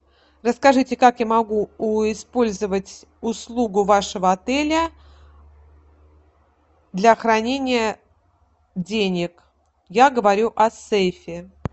расскажите как я могу использовать услугу вашего отеля для хранения денег я говорю о сейфе